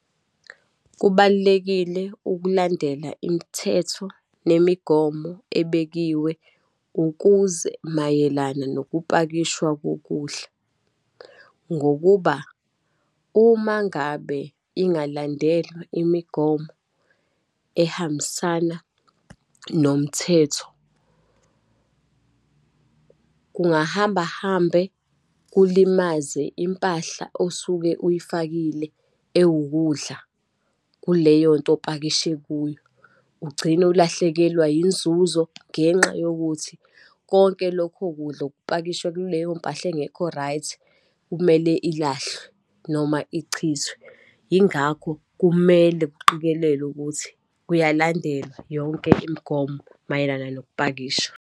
Kubalulekile ukulandela imithetho nemigomo ebekiwe ukuze mayelana nokupakishwa kokudla. Ngokuba uma ngabe ingalandelwa imigomo ehambisana nomthetho, kungahamba hambe kulimaze impahla osuke uyifakile ewukudla kuleyonto opakishe kuyo. Ugcine ulahlekelwa yinzuzo ngenxa yokuthi konke lokho kudla okupakishwe kuleyo mpahla engekho right, kumele ilahlwe, noma ichithwe. Yingakho kumele kuqikelelwe ukuthi kuyalandelwa yonke imigomo mayelana nokupakisha.